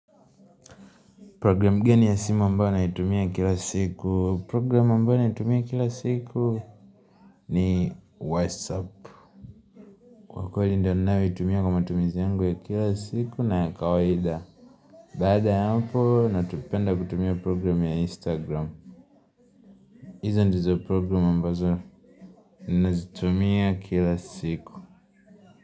Program geni ya simu ambao naitumia kila siku, program ambao natumia kila siku ni WhatsApp, kwa kweli ndiyo ninayoitumia kwa matumizi yangu ya kila siku na ya kawaida Baada ya hapo, napenda kutumia program ya Instagram hizo ndizo program ambazo nazitumia kila siku.